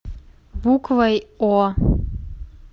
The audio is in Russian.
буквой о